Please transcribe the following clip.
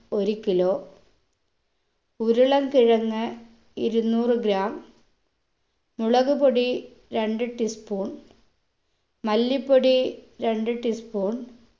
ഒര് kilo ഉരുളക്കിഴങ്ങ് ഇരുന്നൂറ് gram മുളക് പൊടി രണ്ട് tea spoon മല്ലിപ്പൊടി രണ്ട് tea spoon